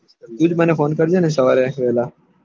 તું જ મને ફોન કરજે ને સવારે વેહલા